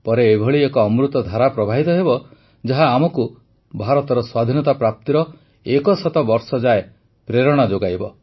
ପରେ ଏଭଳି ଏକ ଅମୃତଧାରା ପ୍ରବାହିତ ହେବ ଯାହା ଆମକୁ ଭାରତର ସ୍ୱାଧୀନତା ପ୍ରାପ୍ତିର ଏକ ଶତ ବର୍ଷ ଯାଏ ପ୍ରେରଣା ଯୋଗାଇବ